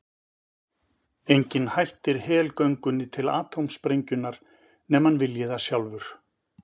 Enginn hættir helgöngunni til atómsprengjunnar nema hann vilji það sjálfur.